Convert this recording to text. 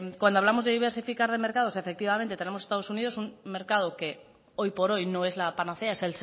cuando hablamos de diversificar mercados efectivamente tenemos estados unidos un mercado que hoy por hoy no es la panacea es